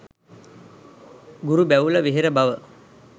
ගුරු බැවුල වෙහෙර බව